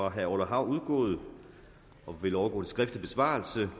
af herre orla hav udgået og vil overgå til skriftlig besvarelse